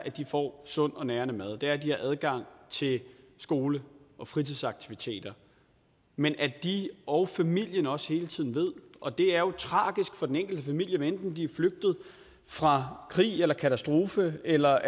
at de får sund og nærende mad og det er at de har adgang til skole og fritidsaktiviteter men at de og familien også hele tiden ved og det er jo tragisk for den enkelte familie hvad enten de er flygtet fra krig eller katastrofe eller